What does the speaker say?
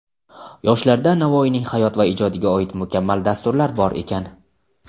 Yoshlarda Navoiyning hayot va ijodiga oid mukammal dasturlar bor ekan).